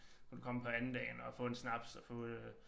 Hvor du kommer på andendagen og få en snaps og få øh